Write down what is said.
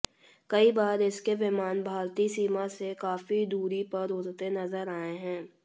कई बार इसके विमान भारतीय सीमा से काफी दूरी पर उड़ते नजर आए हैं